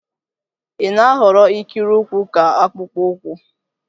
Ị na-ahọrọ ikiri ụkwụ ka akpụkpọ ụkwụ?